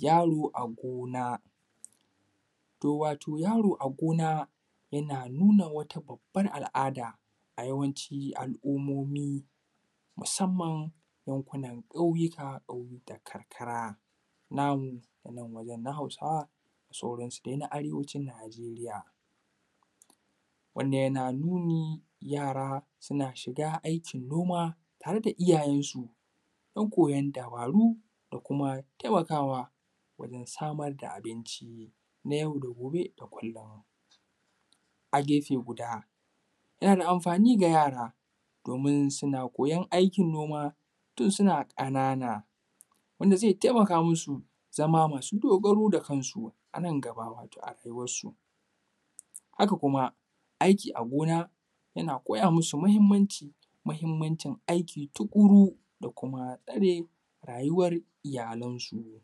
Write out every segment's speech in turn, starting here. Yaro a gona, wato yaro yana nuna wata babbar al’ada a yawanci, al’umomi musamman yanku nan ƙauyuka da karkara, nan, na nan wajen na Hausawa da sauransu dai na arewacin Nijeriya. Wannan yana nuni yara suna shiga aikin gona tare da iyayensu, na koyon dabaru da kuma taimakawa wajen samar da abinci na yau da gobe da kullum. A gefe guda, yana da amfani da yara domin suna koyon aikin noma tun suna ƙanana, wanda zai taimaka musu zama masu dogaro da kansu, anan gaba a rayuwarsu. Haka kuma aikin a gona yana koya musu mahimmanci, mahimmancin aiki tukuru da kuma na tsare rayuwar iyalansu.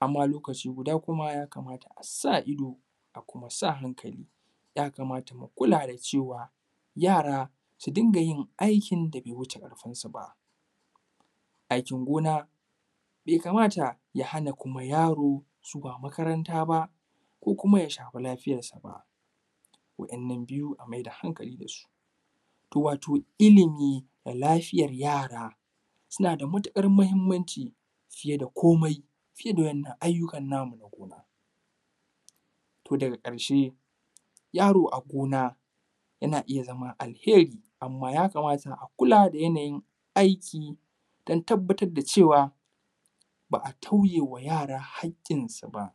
Amma lokaci guda kuma ya kamata asa ido, musa hankali, ya kamata mu kula da cewa yara su dinga yin aikin da be wuce ƙarfinsu ba. Aikin gona be kamata ya hana yaro zuwa makaranta ba, ko kuma ya shafi lafiyar shi ba, wa’innan biyu mu mai da hankali dasu, wato ilimi da lafiyar yara suna da matuƙar mahimmanci fiye da kome fiye da wa’inna ayyukan namu. To daga ƙarshe yarona gona yana iya zama alheri, amma ya kamata a kulla da yana yin aiki don tabbatar da cewa ba a tauyewa yara hakkinsu ba.